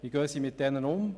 Wie gehen sie damit um?